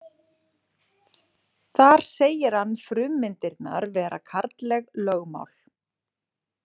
Þar segir hann frummyndirnar vera karlleg lögmál.